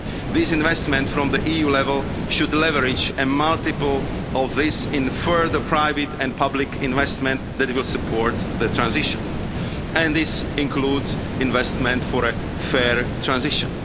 This investment from the EU level should leverage a multiple of this in further private and public investment that will support the transition, and this includes investment for a fair transition.